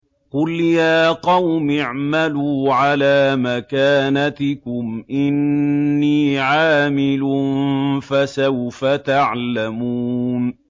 قُلْ يَا قَوْمِ اعْمَلُوا عَلَىٰ مَكَانَتِكُمْ إِنِّي عَامِلٌ ۖ فَسَوْفَ تَعْلَمُونَ